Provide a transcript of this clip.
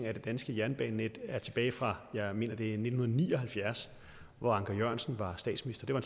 af det danske jernbanenet er tilbage fra jeg mener det er nitten ni og halvfjerds hvor anker jørgensen var statsminister det var